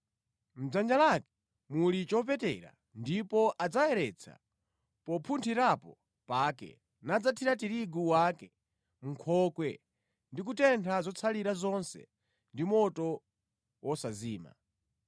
Mʼdzanja lake muli chopetera ndipo adzayeretsa popunthirapo pake nadzathira tirigu wake mʼnkhokwe ndi kutentha zotsalira zonse ndi moto wosazima.”